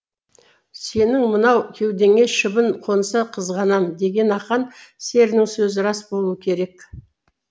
сенің мынау кеудеңе шыбын қонса қызғанам деген ақан серінің сөзі рас болуы керек